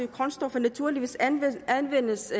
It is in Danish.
grundstoffer naturligvis anvendes anvendes